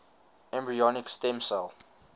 embryonic stem cell